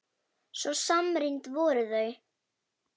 Svo samrýnd voru þau.